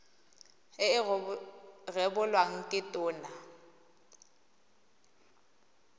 e e rebolwang ke tona